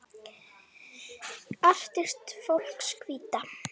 Artist fólks Hvíta.